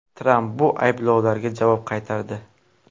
Tramp bu ayblovlarga javob qaytardi.